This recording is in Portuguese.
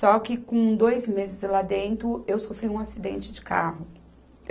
Só que com dois meses lá dentro, eu sofri um acidente de carro.